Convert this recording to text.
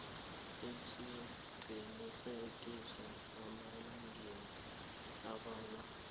isiqinisekiso emalangeni ambalwa